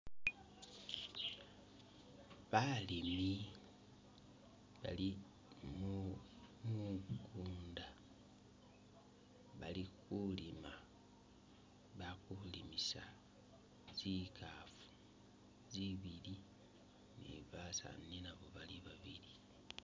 Balimi bali mu mu mukunda ,bali khulima bakhulimisa tsikhafu zibili ni basaani nabo bali babili